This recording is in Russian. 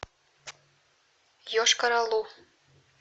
йошкар олу